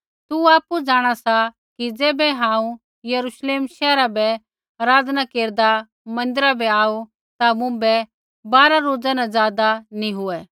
तू आपु जाँणा सा कि ज़ैबै हांऊँ यरूश्लेम शैहरा बै आराधना केरदा मन्दिरा बै आऊ ता मुँभै बारा रोज़ा न ज़ादा नी हुऐ